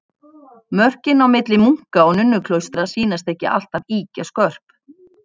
Mörkin milli munka- og nunnuklaustra sýnast ekki alltaf ýkja skörp.